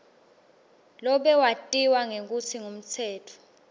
lobewatiwa ngekutsi ngumtsetfo